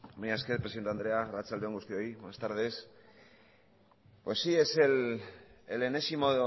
mila esker presidente andrea arraltsade on guztiok buenas tardes pues es el enésimo